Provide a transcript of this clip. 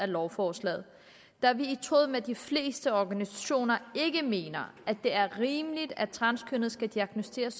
lovforslaget da vi i tråd med de fleste organisationer ikke mener at det er rimeligt at transkønnede skal diagnosticeres